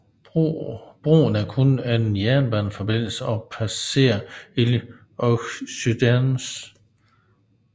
Broen er kun en jernbaneforbindelse og passerer Île aux Cygnes